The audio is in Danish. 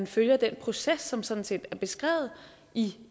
følger den proces som sådan set er beskrevet i